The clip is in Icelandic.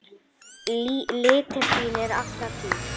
litir þínir alla tíð.